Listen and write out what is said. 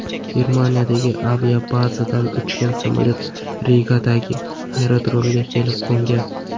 Germaniyadagi aviabazadan uchgan samolyot Rigadagi aerodromga kelib qo‘ngan.